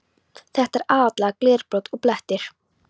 Þetta er aðallega glerbrot og blettir.